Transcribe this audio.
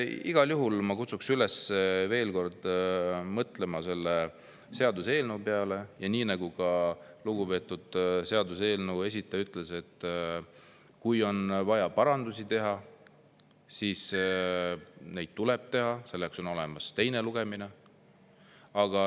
Igal juhul ma kutsun üles veel kord mõtlema selle seaduseelnõu peale ja nii nagu lugupeetud seaduseelnõu esindaja ütles, kui on vaja parandusi teha, siis tuleb neid teha, selleks ongi olemas teine lugemine.